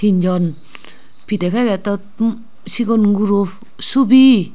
tin jon pide packet ot sigon guro subi.